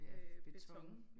Ja beton